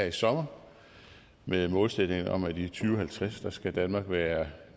i sommer med en målsætning om at i to tusind og halvtreds skal danmark være